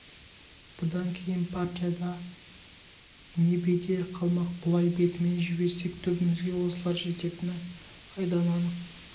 бұдан кейін партияда не бедел қалмақ бұлай бетімен жіберсек түбімізге осылар жететін айдан анық